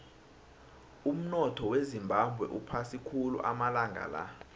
umunotho wezimbabwe uphasi khulu amalanga la